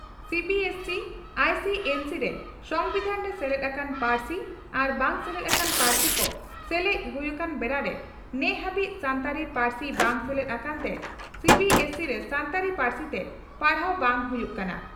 CBSE ICSE ᱨᱮ ᱥᱚᱢᱵᱤᱫᱷᱟᱱᱨᱮ ᱥᱮᱞᱮᱫ ᱟᱠᱟᱱ ᱯᱟᱹᱨᱥᱤ ᱟᱨ ᱵᱟᱝ ᱥᱮᱞᱮᱫ ᱟᱠᱟᱱ ᱯᱟᱹᱨᱥᱤ ᱠᱚ ᱥᱮᱞᱮᱫ ᱦᱩᱭ ᱟᱠᱟᱱ ᱵᱮᱲᱟᱨᱮ ᱱᱮᱦᱟᱹᱵᱤᱡ ᱥᱟᱱᱛᱟᱲᱤ ᱯᱟᱹᱨᱥᱤ ᱵᱟᱝ ᱥᱮᱞᱮᱫ ᱟᱠᱟᱱᱛᱮ ᱥᱤᱹᱵᱤᱹᱮᱥᱹᱥᱤᱹ ᱨᱮ ᱥᱟᱱᱛᱟᱲᱤ ᱯᱟᱹᱨᱥᱤᱛᱮ ᱯᱟᱲᱦᱟᱣ ᱵᱟᱝ ᱦᱩᱭᱩᱜ ᱠᱟᱱᱟ ᱾